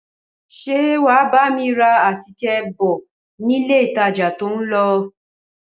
Ṣé wà á bá mi ra àtíkè bọ̀ nílé ìtajà tó ń lọ?